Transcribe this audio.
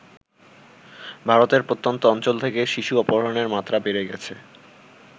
ভারতের প্রত্যন্ত অঞ্চল থেকে শিশু অপহরণের মাত্রা বেড়ে গেছে ।